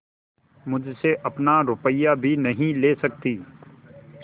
मुझसे अपना रुपया भी नहीं ले सकती